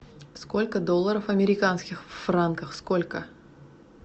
сколько долларов американских в франках сколько